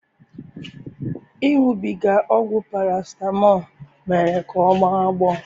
Iṅụbiga ọgwụ paracetamol mere ka ọ gbọ agbọ